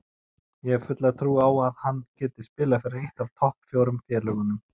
Ég hef fulla trú á að hann geti spilað fyrir eitt af topp fjórum félögunum.